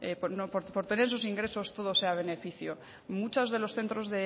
por tener esos ingresos todo sea beneficio muchos de los centros